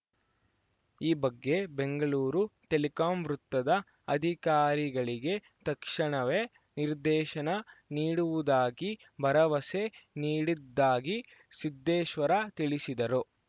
ಈ ಬಗ್ಗೆ ಬೆಂಗಳೂರು ಟೆಲಿಕಾಂ ವೃತ್ತದ ಅಧಿಕಾರಿಗಳಿಗೆ ತಕ್ಷಣವೇ ನಿರ್ದೇಶನ ನೀಡುವುದಾಗಿ ಭರವಸೆ ನೀಡಿದ್ದಾಗಿ ಸಿದ್ದೇಶ್ವರ ತಿಳಿಸಿದರು